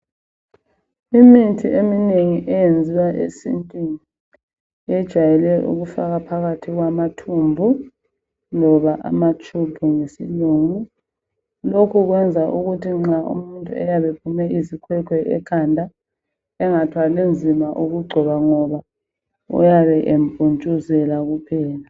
Imithi eminengi eyenziwa esintwini yejwayele ukufakwa phakathi kwamathumbu loba ama tube ngesilungu. Lokhu kwenza ukuthi. nxa umuntu ephume izikhwekhwe ekhanda engathwalinzima ukugcoba ngoba uyabe empuntshuzela kuphela.